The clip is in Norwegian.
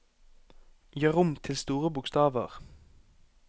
Gjør om til store bokstaver